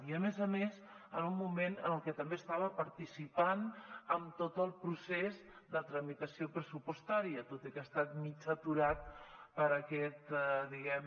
i a més a més en un moment en què també estava participant en tot el procés de tramitació pressupostària tot i que ha estat mig aturat per aquest diguem